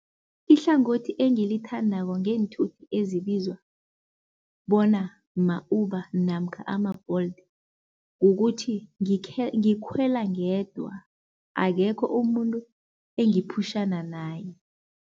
Ihlangothi engilithandako ngeenthuthi ezibizwa bona ma-Uber namkha ama-Bolt kukuthi ngikhwela ngedwa akekho umuntu engiphutjhana naye.